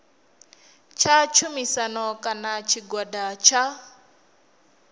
tsha tshumisano kana tshigwada tsha